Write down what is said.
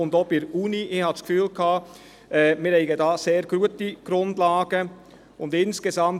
Ich habe das Gefühl, dass wir sehr gute Grundlagen haben.